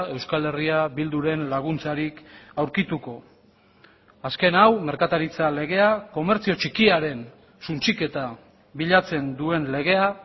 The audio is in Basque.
euskal herria bilduren laguntzarik aurkituko azken hau merkataritza legea komertzio txikiaren suntsiketa bilatzen duen legea